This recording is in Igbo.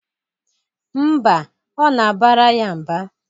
Mba, ọ na-abara ya mba.